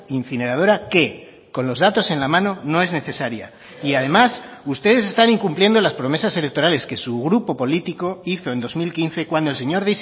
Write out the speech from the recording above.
incineradora que con los datos en la mano no es necesaria y además ustedes están incumpliendo las promesas electorales que su grupo político hizo en dos mil quince cuando el señor